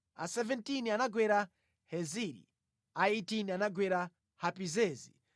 a 17 anagwera Heziri, a 18 anagwera Hapizezi,